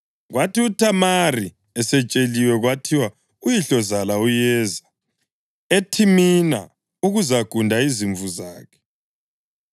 Kwathi uThamari esetsheliwe kwathiwa, “Uyihlozala uyeza eThimina ukuzagunda izimvu zakhe,”